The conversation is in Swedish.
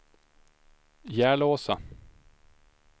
Järlåsa